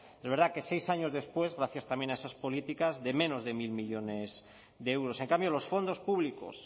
es verdad que seis años después gracias también a esas políticas de menos de mil millónes de euros en cambio los fondos públicos